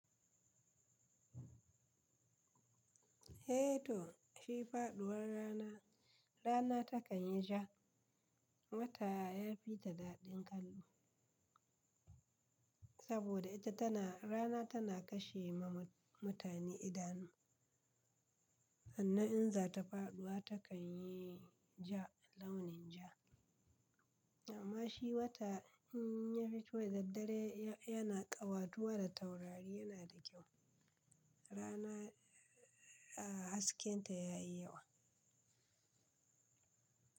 Eh to shi faɗuwar rana, rana takan yi ja, wata ya fi ta daɗin kallo saboda ita tana rana tana kashe ma mutane idanu. Sannan in za ta faɗuwa takan yi ja launin ja. Amma shi wata in ya fito yadda dare ya-yana ƙawatuwa da taurari yana da kyau. Rana a hasken ta ya yi yawa.